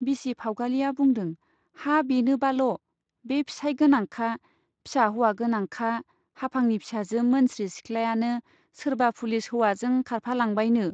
बिसि फाउगालिया बुंदों , हा बेनोबाल, बे फिसाइ गोनांखा , फिसा हौवा गोनांखा हाफांनि फिसाजो मोनस्रि सिख्लायानो सोरबा पुलिस हौवाजों खारफालांबायनो।